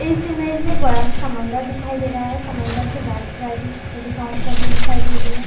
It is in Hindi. इस इमेज में एक बड़ा सा समंदर दिखाई दे रहा है समंदर के लेफ्ट राईट में छोटी छोटी घांस लगी हुई दिखाई दे रही है।